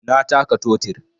Na taka totir